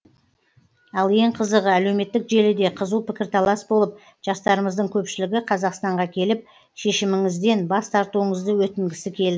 ал ең қызығы әлеуметтік желіде қызу пікір талас болып жастарымыздың көпшілігі қазақстанға келіп шешіміңізден бас тартуыңызды өтінгісі келді